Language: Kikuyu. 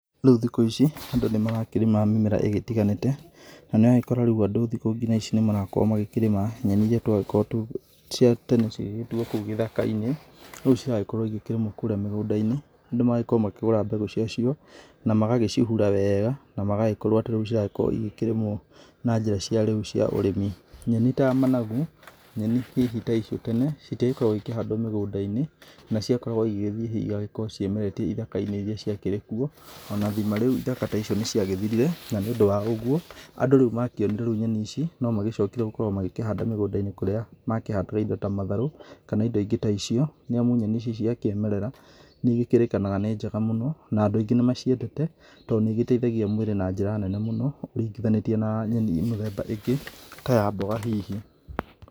Rĩu thikũ ici andũ nĩ marakĩrĩma mĩmera ĩgĩtiganĩte na nĩ ũragĩkora rĩu andũ thikũ ngina ici nĩmarakorwo magĩkĩrĩma nyenĩ iria twagĩkoragwo cia nyenĩ iria cia tene cigĩgĩtuwo kũu gĩthaka-inĩ rĩu ciragĩkorwo ĩgĩkĩrĩmwo kũrĩa mĩgũnda-inĩ. Andũ magakorwo makĩgũra mbegũ ciacio na magagĩcihura wega na magagĩkorwo atĩ rĩu ciragĩkorwo ĩgĩkĩrĩmwo na njĩra cia rĩu cia ũrĩmi. Nyenĩ ta managu, nyenĩ ta icio hihi tene citiagĩkoragwo ĩkĩhandwo mĩgũnda-inĩ na ciakoragwo ĩgĩthĩĩ hihi ĩgagĩkorwo ciĩmeretie gĩthaka-inĩ ĩrĩa ciakĩrĩ kuo, ona thima rĩu ithaka ta icio nĩ ciagĩthirire na nĩ ũndũ wa ũguo andũ rĩu makĩonire rĩu nyenĩ ici nomagĩcokire gũkorwo magĩkĩhanda mĩgũnda-inĩ kũrĩa makĩhandaga ĩndo ta matharũ kana ĩndo ĩngĩ ta icio nĩamu nyenĩ icio cia kĩmerera nĩ ĩgĩkĩrĩkanaga nĩ njega mũno na andũ aingĩ nĩ maciendete tondũ nĩ ĩgĩteithagia mwĩrĩ na njĩra nene mũno ũringithanĩtie na nyenĩ mĩthemba ĩngĩ ta ya mboga hihi.